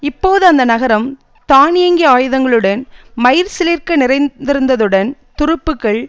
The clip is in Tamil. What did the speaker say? இப்போது அந்த நகரம் தானியங்கி ஆயுதங்களுடன் மயிர்சிலிர்க்க நிறைந்திருந்ததுடன் துருப்புக்கள்